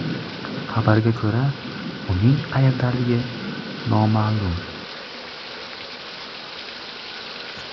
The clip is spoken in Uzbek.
Xabarga ko‘ra, uning qayerdaligi noma’lum.